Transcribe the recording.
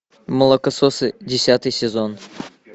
молокососы десятый сезон